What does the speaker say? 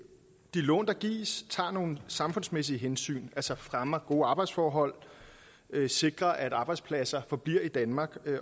lån der gives tager nogle samfundsmæssige hensyn altså fremmer gode arbejdsforhold sikrer at arbejdspladser forbliver i danmark